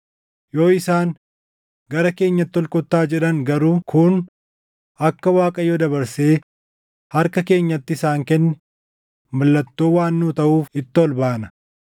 Yoo isaan, ‘Gara keenyatti ol kottaa’ jedhan garuu kun akka Waaqayyo dabarsee harka keenyatti isaan kenne mallattoo waan nuu taʼuuf itti ol baana.”